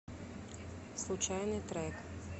случайный трек